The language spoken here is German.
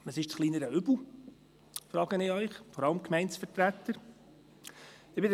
Ich frage Sie – vor allem die Gemeindevertreter –, was das kleinere Übel ist.